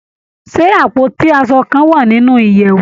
Ṣé àpótí aṣo kan wà nínú ìyèwù?